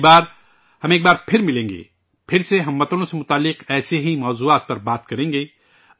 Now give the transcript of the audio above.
اگلی بار ہم ایک بار پھر ملیں گے، پھر سے اہل وطن سے جڑے ایسے ہی موضوعات پر بات کریں گے